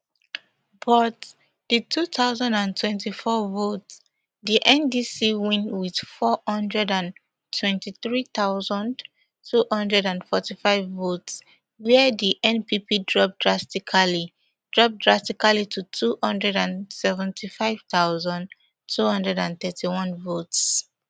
but di two thousand and twenty-four vote di ndc win wit four hundred and twenty-three thousand, two hundred and forty-five votes wia di npp drop drastically drop drastically to two hundred and seventy-five thousand, two hundred and thirty-one votes